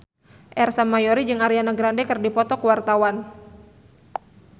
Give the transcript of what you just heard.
Ersa Mayori jeung Ariana Grande keur dipoto ku wartawan